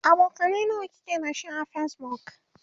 abokanai nawa kike da shi a facebook?